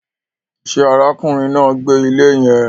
Ṣe ará kùnrin náà ń gbé ilé yẹn